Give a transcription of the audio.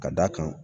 Ka d'a kan